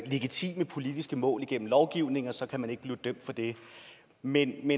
legitime politiske mål gennem lovgivning og så kan man ikke bliver dømt for det men